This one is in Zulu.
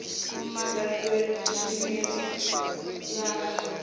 laseshineyari